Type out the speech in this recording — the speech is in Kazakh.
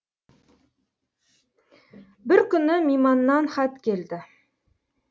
бір күні миманнан хат келді